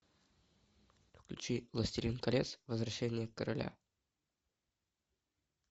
включи властелин колец возвращение короля